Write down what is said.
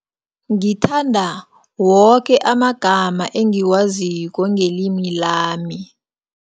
Ngithanda, woke amagama engiwaziko ngelimi lami.